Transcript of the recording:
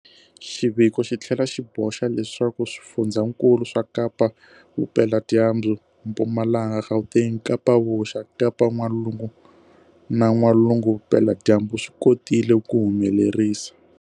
Xiviko xi tlhela xi boxa leswaku swifundzankulu swa Kapa-Vupeladyambu, Mpumalanga, Gauteng, Kapa-Vuxa, Kapa-N'walungu na N'walugu-Vupeladyambu swi kotile ku humelerisa